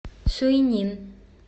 суйнин